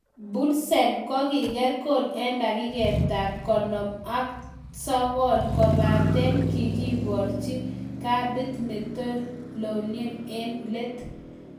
Poulsen kogiger gool en dakiket ab 59, kobaten kigiborchi kadit ne tolelion en let